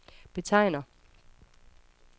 betegner